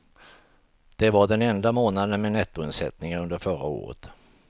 Det var den enda månaden med nettoinsättningar under förra året.